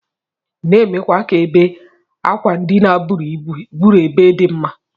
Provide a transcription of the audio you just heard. Na emekwa ka ebe akwandina buru ebe di mma.